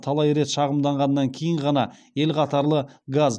талай рет шағымданғаннан кейін ғана ел қатарлы газ